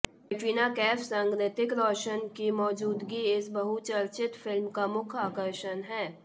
कटरीना कैफ संग रितिक रोशन की मौजूदगी इस बहुचर्चित फिल्म का मुख्य आकर्षण है